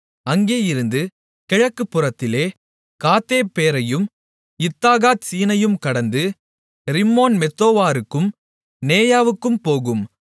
அங்கேயிருந்து கிழக்குப்புறத்திலே காத்தேப்பேரையும் இத்தாகாத்சீனையும் கடந்து ரிம்மோன்மெத்தோவாருக்கும் நேயாவுக்கும் போகும்